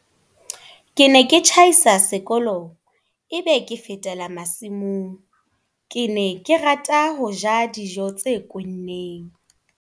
"Ke ne ke tjhaisa sekolong e be ke fetela masimong. Ke ne ke rata ho ja dijo tse kwenneng"